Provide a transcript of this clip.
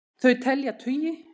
Þau telja tugi.